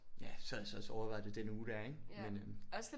Ja sad så også og overvejede det den uge der ik? Men øh